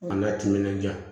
An ka timinan diya